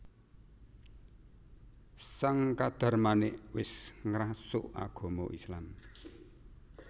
Sang Kadarmanik wis ngrasuk agama Islam